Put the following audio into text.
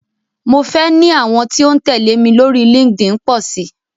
Mo fẹ́ ní àwọn tí ó ń tẹ̀lé mi lórí Linkedin pọ̀ sí.